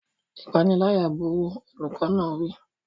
Ìpániláyà burú! Olùkọ́ náà wí.